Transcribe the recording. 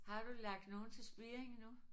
Har du lagt nogle til spiring endnu?